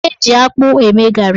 Eji akpụ eme garị.